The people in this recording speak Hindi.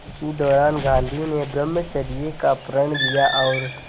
इसी दौरान गांधी ने ब्रह्मचर्य का प्रण लिया और